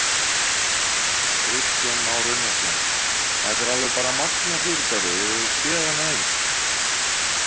Kristján Már Unnarsson: Þetta er alveg bara magnað fyrirbæri, hefur þú séð annað eins?